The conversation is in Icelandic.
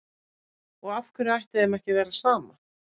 Og af hverju ætti þeim ekki að vera sama?